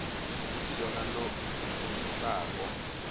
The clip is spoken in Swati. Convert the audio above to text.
kutsi lona lofungisako